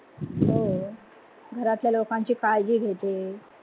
हो, घरातल्या लोकांची काळजी घेते.